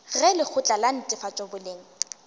ge lekgotla la netefatšo boleng